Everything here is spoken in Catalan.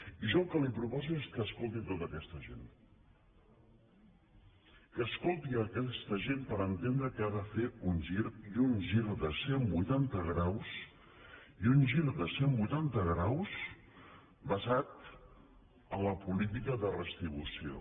i jo el que li proposo és que escolti tota aquesta gent que escolti aquesta gent per entendre que ha de fer un gir i un gir de cent vuitanta graus i un gir de cent vuitanta graus basat en la política de redistribució